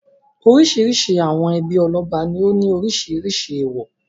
Oríṣiríṣi àwọn ẹbí ọlọ́ba ní ó ní oríṣiríṣi èèwọ̀.